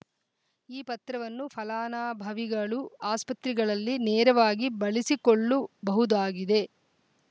ಈ ಪತ್ರವನ್ನು ಫಲಾನಭವಿಗಳು ಆಸ್ಪತ್ರೆಗಳಲ್ಲಿ ನೇರವಾಗಿ ಬಳಸಿಕೊಳ್ಳು ಬಹುದಾಗಿದೆ